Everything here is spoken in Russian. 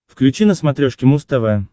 включи на смотрешке муз тв